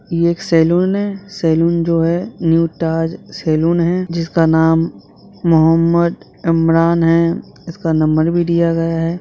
ये एक सलून है सलून जो है न्यू ताज सलून है जिसका नाम मोहमद्द इमरान है इसका नंबर भी दिया गया है ।